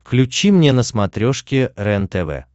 включи мне на смотрешке рентв